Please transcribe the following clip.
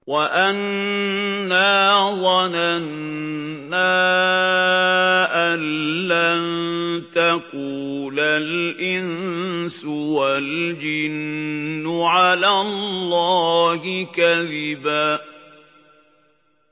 وَأَنَّا ظَنَنَّا أَن لَّن تَقُولَ الْإِنسُ وَالْجِنُّ عَلَى اللَّهِ كَذِبًا